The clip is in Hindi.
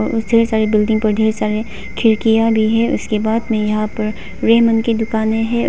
और ढेर सारी बिल्डिंग पर ढेर सारे खिड़कियां भी है उसके बाद में यहां पर रेमंड की दुकानें हैं।